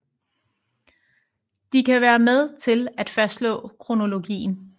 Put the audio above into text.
De kan være med til at fastslå kronologien